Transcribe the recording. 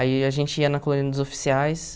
Aí a gente ia na colônia dos oficiais.